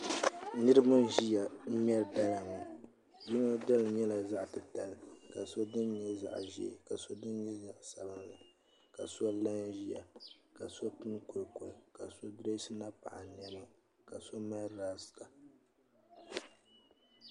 Niraba n ʒiya n ŋmɛri dala ŋo yino dala nyɛla zaɣ titali ka so din nyɛ zaɣ ʒiɛ ka so din nyɛ zaɣ sabinli ka so la n ʒiya ka so pini koli koli ka so dirɛsi napaɣa niɛma ka so mali raasta